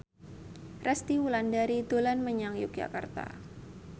Resty Wulandari dolan menyang Yogyakarta